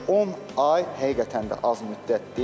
10 ay həqiqətən də az müddət deyil.